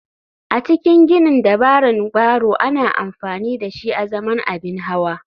A cikin ginin dabaran barrow ana amfani dashi azaman abin hawa.